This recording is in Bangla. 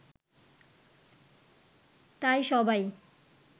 তাই সবাই